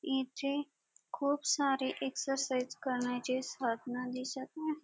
इथे खूप सारे एक्झरसाइज करण्याचे साधन दिसत आहे.